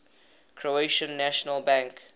croatian national bank